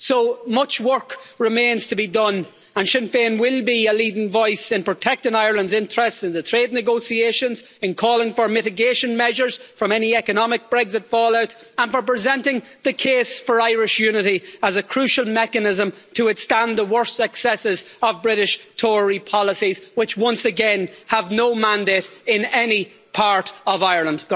So, much work remains to be done and Sinn Féin will be a leading voice in protecting Ireland's interests in the trade negotiations, in calling for mitigation measures from any economic Brexit fallout and for presenting the case for Irish unity as a crucial mechanism to withstand the worst excesses of British Tory policies, which once again have no mandate in any part of Ireland.